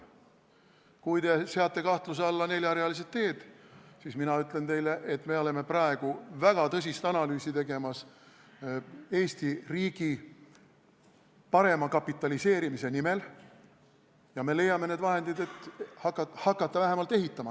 Kui te seate kahtluse alla neljarealised teed, siis mina ütlen teile, et me oleme praegu tegemas väga tõsist analüüsi Eesti riigi parema kapitaliseerimise nimel ja me leiame need vahendid, et vähemalt hakata ehitama.